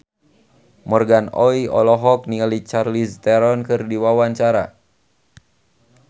Morgan Oey olohok ningali Charlize Theron keur diwawancara